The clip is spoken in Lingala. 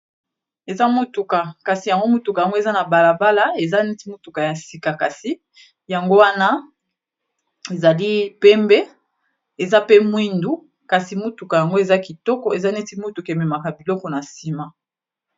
Eza motuka kasi yango motuka yango eza na balabala eza neti motuka ya sika, kasi yango wana ezali pembe eza pe mwindu kasi motuka yango eza kitoko eza neti motuka ememaka biloko na nsima.